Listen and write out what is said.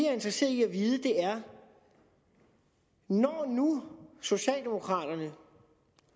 er interesseret i at vide er når nu socialdemokraterne